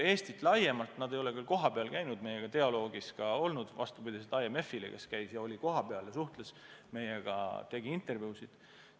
Euroopa Komisjon ei ole küll kohapeal käinud ja meiega dialoogis olnud nagu IMF, kes käis siin ja suhtles meiega, tegi intervjuusid.